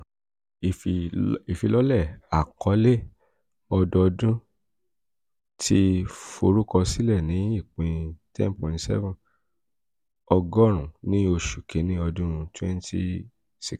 ifilọlẹ akọle ọdọọdun ifilọlẹ akọle ọdọọdun ti forukọsilẹ ni ipin ten point seven ogorun ni oṣu kini ọdun twenty sixteen.